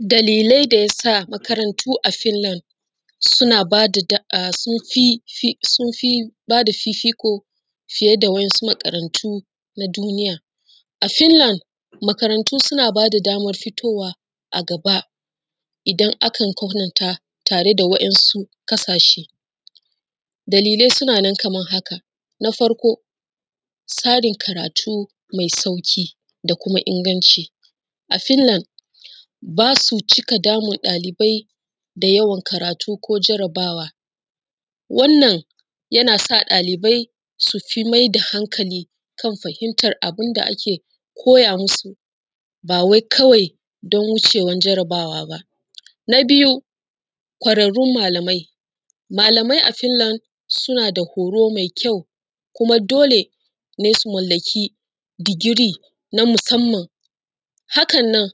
Dalilai da ya sa makarantu a Filland sun fi bada fifiko fiye da wa’yansu makarantu na duniya, a Filland makarantu suna bayar da daman fitowa a gaba idan aka kwatanta tare da wa’yansu ƙasashe, dalilai suna nan kaman haka: na farko tsarin karatu mai sauƙi da kuma inganci. A filland ba su cika damun ɗalibai da yawan karatu ko jarabawa ba wannan yana sa ɗalibai su fi maida hankali kan abin da ake koya musu ba wai kawai don wucewan jarabawaba. Na biyu kwararrun malamai, malamai a Filland suna da horu masu kyau kuma dole ne su mallake degree na musanman, hakan nan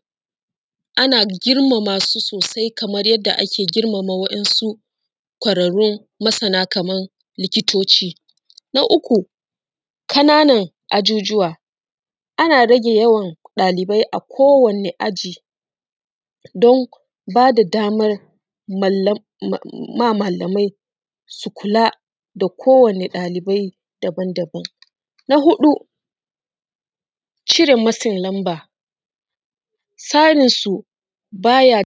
ana girmama su sosai kaman yanda ake girmama wa’yansu kwararrun masana kaman likitoci. Na uku ƙanan ajujuwa, ana rage yawan ɗalibai a kowane aji don ba da daman malamai su kula da kowane ɗalibai daban-daban, na huɗu cire matsin number tsarinsu baya